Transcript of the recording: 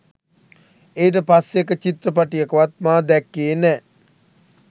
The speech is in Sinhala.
ඊට පස්සෙ එක චිත්‍රපටයකවත් මා දැක්කේ නෑ